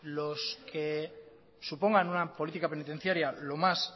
los que supongan una política penitenciaria lo más